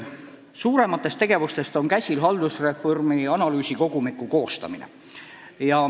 Suurem ettevõtmine on praegu haldusreformi analüüsikogumiku koostamine.